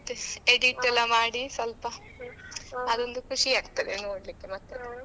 ಮತ್ತೆ edit ಎಲ್ಲಾ ಮಾಡಿ ಸ್ವಲ್ಪ ಅದೊಂದು ಖುಷಿ ಆಗ್ತದೆ ನೋಡ್ಲಿಕ್ಕೆ ಮತ್ತೆ.